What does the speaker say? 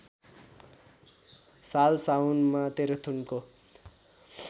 साल साउनमा तेह्रथुमको